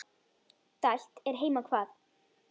Dælt er heima hvað.